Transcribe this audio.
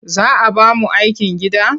Za a ba mu aikin gida?